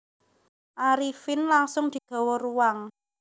Arifin langsung digawa ruang